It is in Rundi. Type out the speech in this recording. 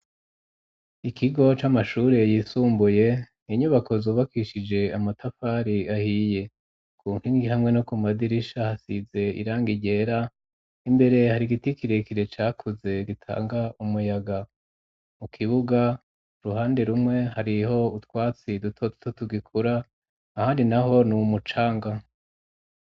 Ikigo c'amashure yisumbuye, ni nyubako zubakishije amatafari ahiye. Ku nkingi hamwe no ku madirisha hasize irangi ryera, imbere hari igiti kirekire cakuze gitanga umuyaga. Mu kibuga, uruhande rumwe hariho utwatsi duto duto tugikura, ahandi naho ni umucanga.